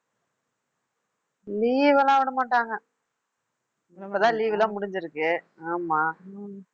leave எல்லாம் விடமாட்டாங்க இப்ப தான் leave எல்லாம் முடிஞ்சுருக்கு ஆமா